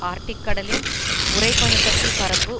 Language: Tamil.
ஆர்ட்டிக் கடலின் உறை பனி கட்டி பரப்பு